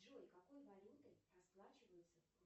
джой какой валютой расплачиваются